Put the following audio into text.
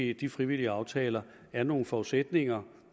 i de frivillige aftaler er nogle forudsætninger